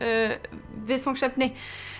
viðfangsefni